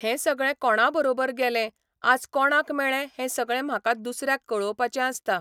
हें सगळें कोणा बरोबर गेलें, आज कोणाक मेळ्ळें हें सगळें म्हाका दुसऱ्याक कळोवपाचें आसता.